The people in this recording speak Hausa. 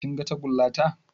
Kin ga tagulla ta?